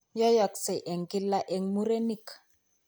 Yoiyoksee eng' kila eng' murenik